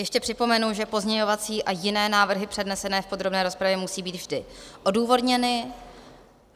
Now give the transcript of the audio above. Ještě připomenu, že pozměňovací a jiné návrhy přednesené v podrobné rozpravě musí být vždy odůvodněny.